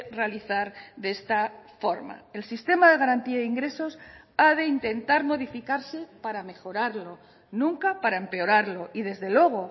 realizar de esta forma el sistema de garantía de ingresos ha de intentar modificarse para mejorarlo nunca para empeorarlo y desde luego